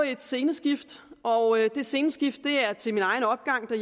et sceneskift og det sceneskift er til min egen opgang på